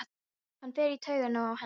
Hann fer í taugarnar á henni.